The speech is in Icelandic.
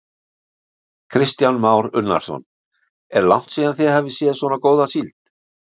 Kristján Már Unnarsson: Er langt síðan þið hafið séð svona góða síld?